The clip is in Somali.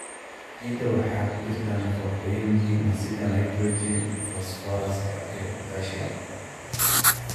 Ciidda waxaa ku jira nafaqooyin muhiim ah sida nitrogen, fosfooraska iyo potassium.